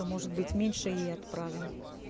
но может быть меньше ей отправим